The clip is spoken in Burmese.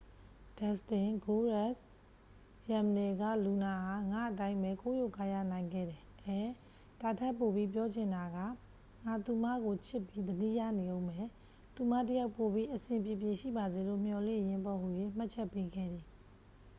"ဒက်စတင် "ဂိုးရက်စ်" ရန်နယ် က "လူနာ ဟာ ငါ့အတိုင်းပဲ ကိုးရိုးကားရားနိုင်ခဲ့တယ်...အဲဒါထက်ပိုပြီးပြောချင်တာက...ငါသူမကို ချစ်ပြီး သတိရနေဦးမယ်...သူမတစ်ယောက် ပိုပြီးအဆင်ပြေပြေ ရှိပါစေလို့ မျှော်လင့်ရင်းပေါ့" ဟူ၍ မှတ်ချက်ပေးခဲ့သည်။